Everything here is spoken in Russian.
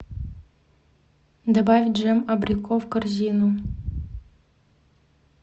добавь джем абрико в корзину